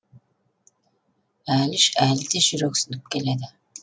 әліш әлі де жүрексініп келеді